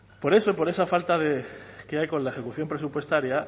por eso por esa falta que hay con la ejecución presupuestaria